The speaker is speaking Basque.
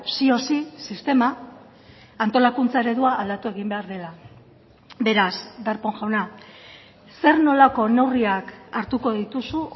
sí o sí sistema antolakuntza eredua aldatu egin behar dela beraz darpón jauna zer nolako neurriak hartuko dituzu